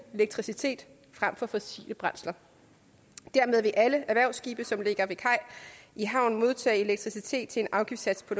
elektricitet frem for fossile brændsler dermed vil alle erhvervsskibe som ligger ved kaj i havn modtage elektricitet til en afgiftssats på